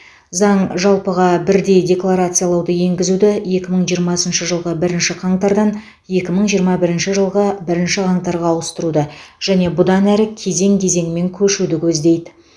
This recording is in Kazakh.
заң жалпыға бірдей декларациялауды енгізуді екі мың жиырмасыншы жылғы бірінші қаңтардан екі мың жиырма бірінші жылғы бірінші қаңтарға ауыстыруды және бұдан әрі кезең кезеңімен көшуді көздейді